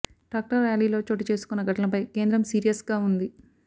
tractor ర్యాలీలో చోటు చేసుకొన్న ఘటనలపై కేంద్రం సీరియస్ గా ఉంది